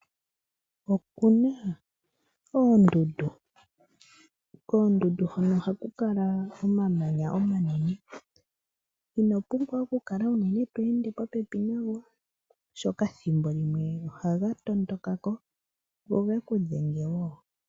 Okuna oondundu, koondundu hono ohaku kala omamanya omanene ino pumbwa okukala uunene to ende popepi nago oshoka thimbo limwe ohaga tondoka ko go geku dhengewo.